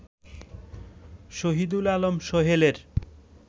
Shahidul Alam সোহেলের